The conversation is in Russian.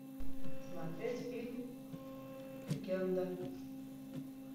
смотреть фильм легенда